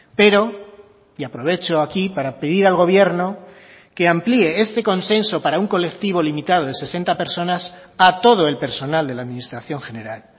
pero y aprovecho aquí para pedir al gobierno que amplíe este consenso para un colectivo limitado de sesenta personas a todo el personal de la administración general